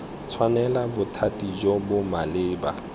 tshwanela bothati jo bo maleba